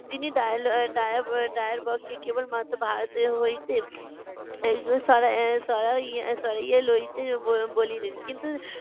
তিনি ডায়ল~ ডায়েব~ ডায়েরবগকে কেবলমাত্র ভারতের হইতে এইগুলি সরা~ সরাই~ সরাইয়ে লইতে ব~ বলিলেন। কিন্তু